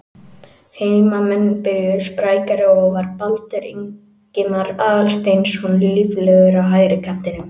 Heimamenn byrjuðu sprækari og var Baldur Ingimar Aðalsteinsson líflegur á hægri kantinum.